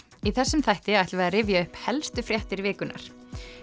í þessum þætti ætlum við að rifja upp helstu fréttir vikunnar